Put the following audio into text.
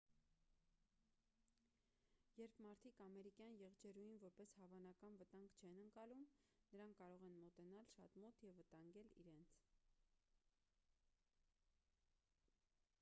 երբ մարդիկ ամերիկյան եղջերուին որպես հավանական վտանգ չեն ընկալում նրանք կարող են մոտենալ շատ մոտ և վտանգել իրենց